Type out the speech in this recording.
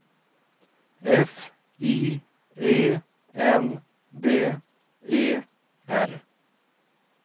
F I E N D E R